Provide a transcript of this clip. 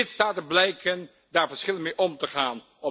Lidstaten blijken daar verschillend mee om te gaan.